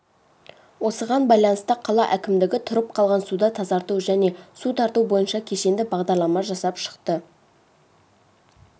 осыған байланысты қала әкімдігі тұрып қалған суды тазарту және су тарту бойынша кешенді бағдарлама жасап шықты